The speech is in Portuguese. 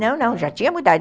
Não, não, já tinha mudado.